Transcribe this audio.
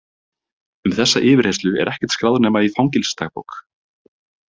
Um þessa yfirheyrslu er ekkert skráð nema í fangelsisdagbók.